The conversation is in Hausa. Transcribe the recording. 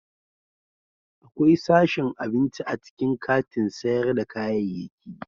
Akwai sashin abinci a cikin katin sayar da kayayyaki.